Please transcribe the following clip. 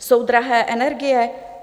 Jsou drahé energie?